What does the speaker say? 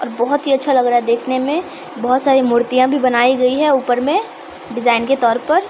और बहुत ही अच्छा लग रहा है देखने में बहुत सारी मूर्तियां भी बनाई गयी है ऊपर में डिज़ाइन के तोर पर --